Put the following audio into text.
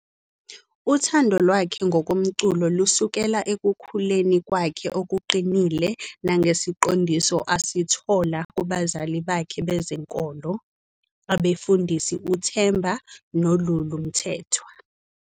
Uthando lwakhe ngomculo lusukela ekukhuleni kwakhe okuqinile nangesiqondiso asithola kubazali bakhe bezenkolo, abefundisi uThemba noLulu Mthethwa.